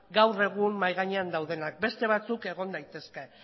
gaur egun mahai gainean daudenak beste batzuk egon daitezke